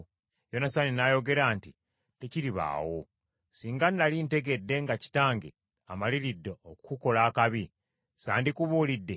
Yonasaani n’ayogera nti, “Tekiribaawo! Singa nnali ntegedde nga kitange amaliridde okukukola akabi, sandikubuulidde?”